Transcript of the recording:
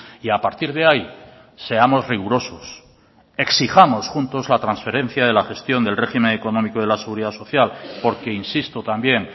y a partir de ahí seamos rigurosos exijamos juntos la transferencia de la gestión del régimen económico de la seguridad social porque insisto también